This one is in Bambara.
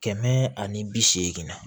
Kɛmɛ ani bi seegin na